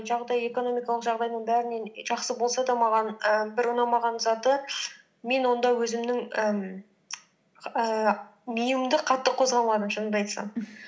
жағдайы экономикалық жағдайдың бәрінен жақсы болса да маған і бір ұнамаған заты мен онда өзімнің ііі миымды қатты қозғамадым шынымды айтсам